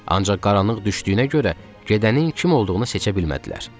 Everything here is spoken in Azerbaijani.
Ancaq qaranlıq düşdüyünə görə gedənin kim olduğunu seçə bilmədilər.